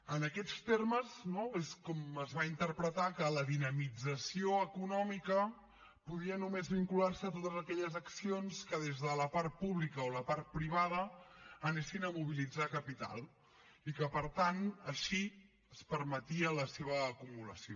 en aquests termes no és com es va interpretar que la dinamització econòmica podia només vincular se a totes aquelles accions que des de la part pública o la part privada anessin a mobilitzar capital i que per tant així es permetia la seva acumulació